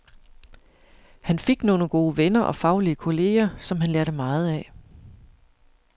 Han fik nogle gode venner og faglige kolleger, som han lærte meget af.